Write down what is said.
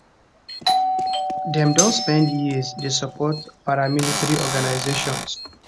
dem don spend years dey support paramilitary organisations